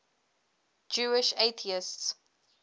jewish atheists